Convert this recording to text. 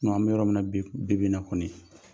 an bɛ yɔrɔ min na bib bibi in na kɔni